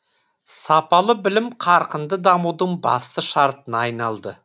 сапалы білім қарқынды дамудың басты шартына айналды